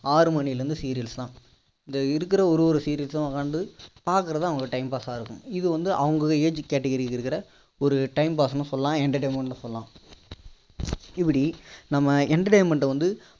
ஆறு மணில இருந்து serials தான் இந்த இருக்கிற ஒரு ஒரு serials சும் வந்து பார்க்கிறது தான் அவங்களுக்கு time pass சா இருக்கும் இது வந்து அவங்க age category க்கு இருக்கிற ஒரு time pass ன்னு சொல்லலாம் entertainment ன்னு சொல்லலாம் இப்படி நம்ம entertainment வந்து